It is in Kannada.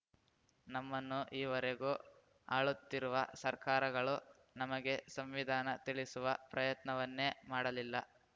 ನಮ್ಮನ್ನು ಈವರೆಗೂ ಆಳುತ್ತಿರುವ ಸರ್ಕಾರಗಳೂ ನಮಗೆ ಸಂವಿಧಾನ ತಿಳಿಸುವ ಪ್ರಯತ್ನವನ್ನೇ ಮಾಡಲಿಲ್ಲ